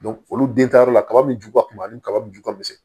olu den taa yɔrɔ la kaba min ju ka kunba ni kaba ju ka misɛn